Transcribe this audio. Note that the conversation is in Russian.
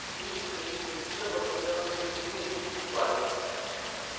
кьюти с таинственным видом посмотрел на свои длинные гибкие пальцы